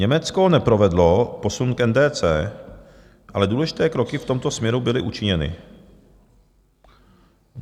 Německo neprovedlo posun k NDC, ale důležité kroky v tomto směru byly učiněny.